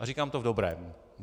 A říkám to v dobrém.